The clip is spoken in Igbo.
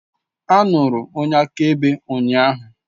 A nụrụ onye akaebe ụnyaahụ.